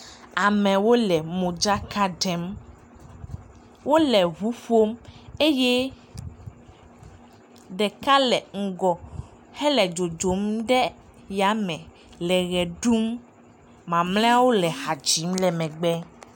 Amewo le modzaka ɖem. Wole ŋu ƒom eye ɖeka le ŋgɔ hele dzodzom ɖe yame le ʋe ɖum. Mamlɛeawo le ha dzim le megbe.